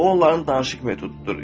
Bu onların danışıq metodudur.